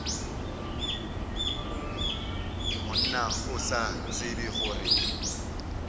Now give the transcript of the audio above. monna o sa tsebe gore